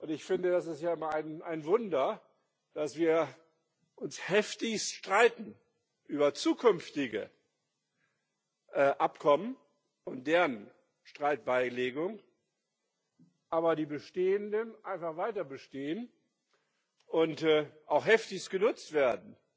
Ich finde, das ist ja ein Wunder, dass wir uns heftigst streiten über zukünftige Abkommen und deren Streitbeilegung, aber die bestehenden einfach weiter bestehen und auch heftigst genutzt werden.